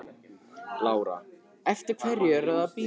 Lára: Eftir hverri ertu að bíða?